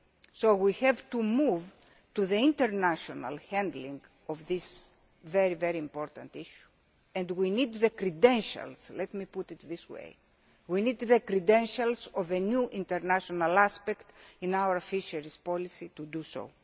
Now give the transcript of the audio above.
this file. So we have to move to the international handling of this very important issue and we need the credentials, let me put it this way, we need the credentials of a new international aspect in our fisheries policy